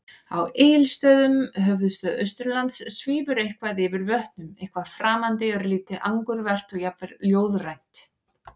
Á Egilsstöðum, höfuðstað Austurlands, svífur eitthvað yfir vötnum- eitthvað framandi, örlítið angurvært og jafnvel ljóðrænt.